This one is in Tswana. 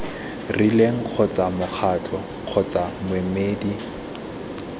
rileng kgotsa mokgatlo kgotsa moemedi